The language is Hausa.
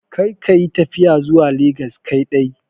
Kar ka yi tafiya zuwa legas kaidai.